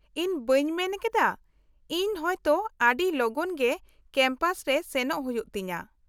-ᱤᱧ ᱵᱟᱹᱧ ᱢᱮᱱ ᱠᱮᱫᱟ, ᱤᱧ ᱦᱚᱭᱛᱚ ᱟᱹᱰᱤ ᱞᱚᱜᱚᱱ ᱜᱮ ᱠᱮᱢᱯᱟᱥ ᱨᱮ ᱥᱮᱱᱚᱜ ᱦᱩᱭᱩᱜ ᱛᱤᱧᱟᱹ ᱾